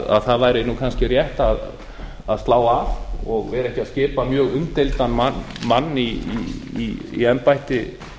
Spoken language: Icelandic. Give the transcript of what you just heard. að það væri kannski rétt að slá af og vera ekki að skipa mjög umdeildan mann í embætti